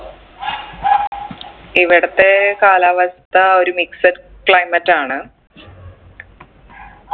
ഇവിടത്തെ കാലാവസ്ഥ ഒരു mixed climate ആണ്